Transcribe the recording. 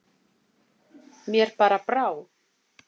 Mér bara brá.